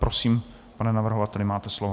Prosím, pane navrhovateli, máte slovo.